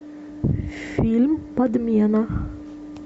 фильм подмена